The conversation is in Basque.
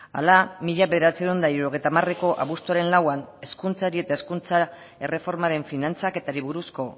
hala mila bederatziehun eta hirurogeita hamareko abuztuaren lauan hezkuntzari eta hezkuntza erreformaren finantzaketari buruzko